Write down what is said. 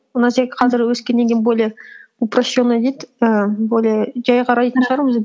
қазір өскеннен кейін более упрощенно дейді ііі более жай қарайтын шығармыз енді